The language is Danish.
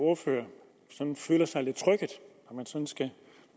ordfører sådan føler sig lidt trykket